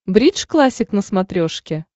бридж классик на смотрешке